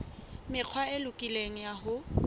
mekgwa e lokileng ya ho